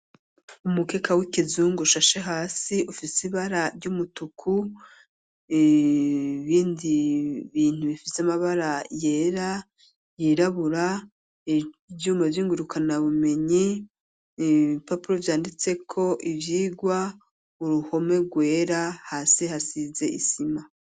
Umukeka w'ikizungu ushashe hasi ufise ibara ry'umutuku ibindi bintu bifise amabara yera yirabura ivyuma byingurukana bumenyi ibipapuro vyanditseko ivyigwa uruhome rwera hasi hasize isima.